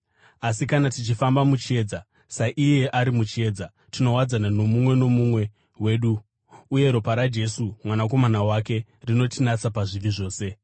Asi kana tichifamba muchiedza, saiye ari muchiedza, tinowadzana nomumwe nomumwe wedu, uye ropa raJesu, Mwanakomana wake, rinotinatsa pazvivi zvose.